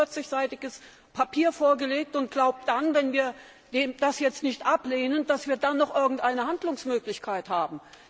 Er hat uns ein über 40 seitiges Papier vorgelegt und glaubt dann, wenn wir das jetzt nicht ablehnen, dass wir dann noch irgendeine Handlungsmöglichkeit haben.